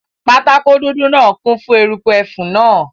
Pátákó dúdú náà kún fún eruku ẹfun náà